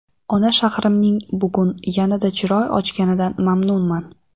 Ona shahrimning bugun yanada chiroy ochganidan mamnunman.